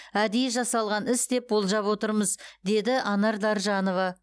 әдейі жасалған іс деп болжап отырмыз деді анар даржанова